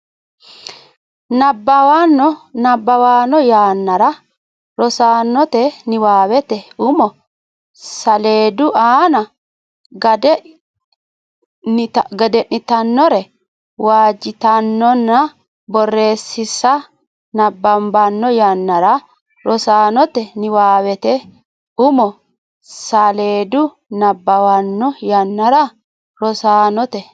nabbabbanno yannara Rosaanote niwaawete umo saleedu aana gede nitannore waajitannonna borreessinsa nabbabbanno yannara Rosaanote niwaawete umo saleedu nabbabbanno yannara Rosaanote.